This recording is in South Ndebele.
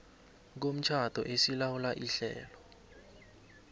komtjhado esilawula ihlelo